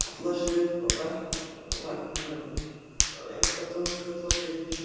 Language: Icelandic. Hallar sér upp að veggnum, leyndardómsfull á svipinn.